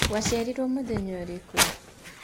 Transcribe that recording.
Waciariruo mũthenya ũrĩkũ?